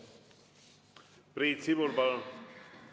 Priit Sibul, palun!